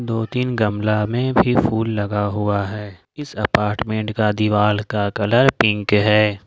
दो तीन गमला में भी फूल लगा हुआ है इस अपार्टमेंट का दीवाल का कलर पिंक है।